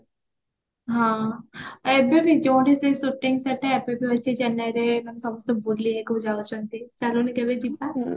ହଁ ଏବେ ବି ଯୋଉଠି ସେ shooting set ଚେନ୍ନାଇରେ ମାନେ ସମସ୍ତେ ବୁଲିବାକୁ ଯାଉଚନ୍ତି ଚାଲୁନୁ କେବେ ଯିବା